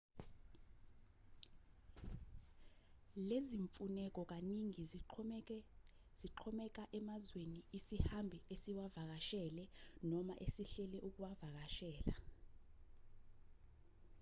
lezimfuneko kaningi zingaxhomeka emazweni isihambi esiwavakashele noma esihlele ukuwavakashela